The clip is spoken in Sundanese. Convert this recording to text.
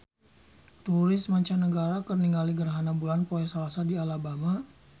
Turis mancanagara keur ningali gerhana bulan poe Salasa di Alabama